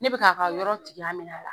Ne bɛ ka yɔrɔ tigiya minɛ a la.